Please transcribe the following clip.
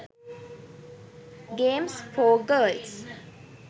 games for girls